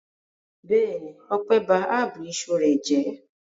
Bẹ́ẹ̀ni, Ọpẹ́ ba ab iṣu rẹ̀ jẹ́.